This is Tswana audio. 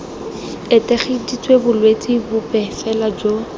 etegeditse bolwetse bope fela jo